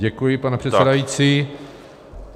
Děkuji, pane předsedající.